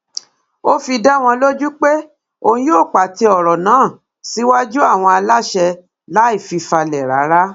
ó fi dá wọn lójú pé òun yóò pàtẹ ọrọ náà síwájú àwọn aláṣẹ láì fi falẹ rárá